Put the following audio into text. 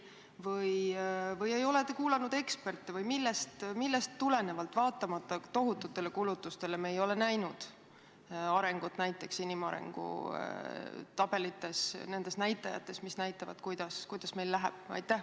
Kas te ei ole kuulanud eksperte või millest tulenevalt, vaatamata tohututele kulutustele, me ei ole näinud arengut näiteks inimarengu tabelites – nendes näitajates, mis näitavad, kuidas meil läheb?